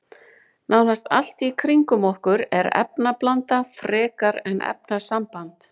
Nánast allt í kringum okkur er efnablanda frekar en efnasamband.